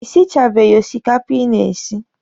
Ị sichabeghi osikapa ị na-esi?